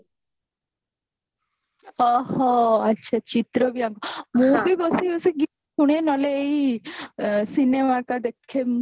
ଓହୋ ଆଚ୍ଛା ଚିତ୍ର ବି ଆଙ୍କ ମୁଁ ବି ବସି ବସି ଗୀତା ଶୁଣେ ନହେଲେ cinemaଟା ଦେଖେ